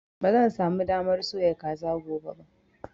Ba zan sa mu damar soya kaza gobe ba